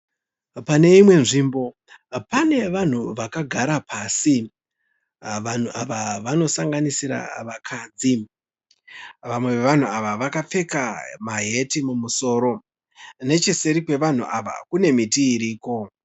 Pane imwe nzvimbo pane vanhu vakagara pasi. Vanhu ava vanosanganisira vakadzi. Vamwe vevanhu ava vakapfeka maheti mumusoro. Necheseri kwevanhu ava kune miti iriko.